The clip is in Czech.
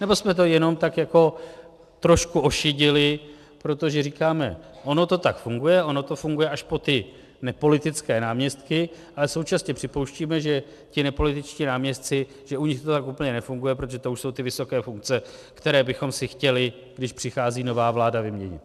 Nebo jsme to jenom tak jako trošku ošidili, protože říkáme, ono to tak funguje, ono to funguje až po ty nepolitické náměstky, ale současně připouštíme, že ti nepolitičtí náměstci, že u nich to tak úplně nefunguje, protože to už jsou ty vysoké funkce, které bychom si chtěli, když přichází nová vláda, vyměnit.